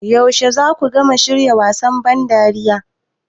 Yaushe za ku gama shirya wasan ban dariya?